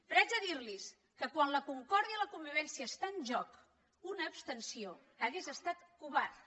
però haig de dirlos que quan la concòrdia i la convivència estan en joc una abstenció hauria estat covarda